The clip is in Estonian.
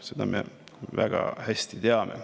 Seda me väga hästi teame.